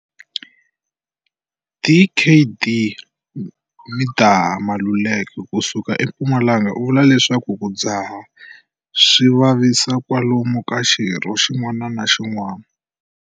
Dkd Midah Maluleke ku suka eMpumalanga u vula leswaku ku dzaha swi vavisa kwalomu ka xirho xin'wana na xin'wana.